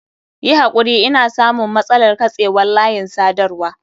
Yi hakuri ina samun matsalar katsewar layin sadarwa.